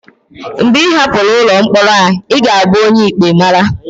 mgbe ị hapụrụ ụlọ mkpọrọ a, ị ga-abụ onye ikpe mara